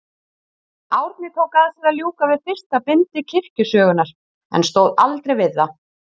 Árni tók að sér að ljúka við fyrsta bindi kirkjusögunnar, en stóð aldrei við það.